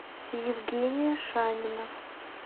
евгения шанина